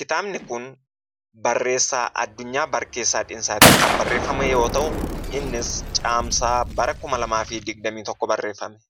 Kitaabni kun barreessaa Addunyaa Barkeessaatiin kan barreeffame yoo ta'u, innis caamsaa bara 2021 barreeffame.